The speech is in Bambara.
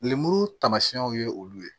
Lemuru taamasiyɛnw ye olu ye